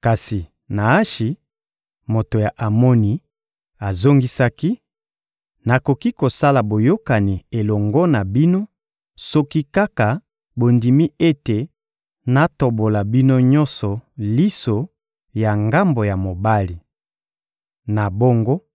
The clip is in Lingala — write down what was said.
Kasi Naashi, moto ya Amoni, azongisaki: — Nakoki kosala boyokani elongo na bino soki kaka bondimi ete natobola bino nyonso liso ya ngambo ya mobali. Na bongo,